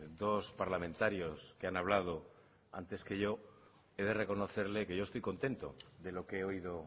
dos parlamentarios que han hablado antes que yo he de reconocerle que yo estoy contento de lo que he oído